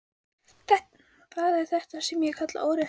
Það er þetta sem ég kalla óréttlæti.